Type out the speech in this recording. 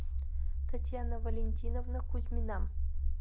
татьяна валентиновна кузьмина